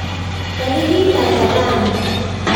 Tarik ata raini